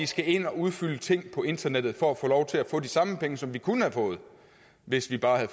skal ind og udfylde ting på internettet for at få lov til at få de samme penge som man kunne have fået hvis man bare havde